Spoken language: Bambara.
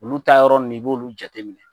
Olu taa yɔrɔ ninnu, i b'olu jateminɛ.